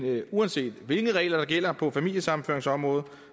uanset hvilke regler der gælder på familiesammenføringsområdet